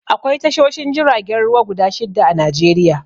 Akwai tashoshin jiragen ruwa guda shidda a Najeriya